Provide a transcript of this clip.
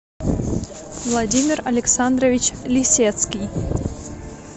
владимир александрович лисецкий